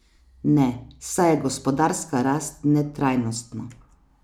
Ne, saj je gospodarska rast netrajnostna.